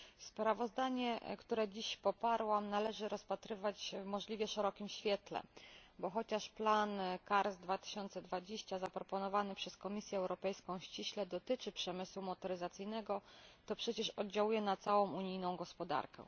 Sprawozdanie, które dzisiaj poparłam, należy rozpatrywać w możliwie szerokim świetle, bo chociaż plan CARS2020 zaproponowany przez Komisję Europejską ściśle dotyczy przemysłu motoryzacyjnego, to przecież oddziałuje na całą unijną gospodarkę.